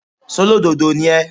ṣólódodo ni ẹ́?